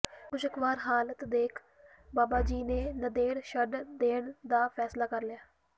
ਨਾਖੁਸ਼ਗਵਾਰ ਹਾਲਤ ਦੇਖ ਬਾਬਾ ਜੀ ਨੇ ਨੰਦੇੜ ਛੱਡ ਦੇਣ ਦਾ ਫੈਸਲਾ ਕਰ ਲਿਆ